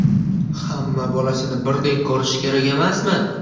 Hamma bolasini birdek ko‘rish kerak emasmi?